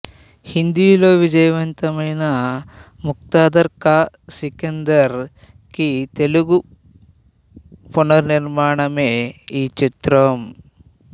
హిందీ లో విజయవంతమైన ముకద్దర్ కా సికందర్ కి తెలుగు పునర్నిర్మాణమే ఈ చిత్రం